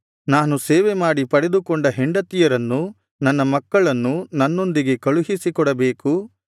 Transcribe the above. ನಾನು ಸೇವೆಮಾಡಿ ಪಡೆದುಕೊಂಡ ಹೆಂಡತಿಯರನ್ನೂ ನನ್ನ ಮಕ್ಕಳನ್ನೂ ನನ್ನೊಂದಿಗೆ ಕಳುಹಿಸಿಕೊಡಬೇಕು